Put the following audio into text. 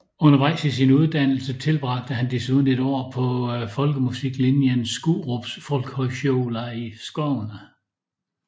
Undervejs i sin uddannelse tilbragte han desuden et år på folkemusiklinjen Skurups folkhögskola i Skåne